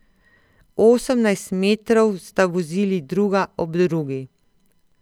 Osemnajst metrov sta vozili druga ob drugi.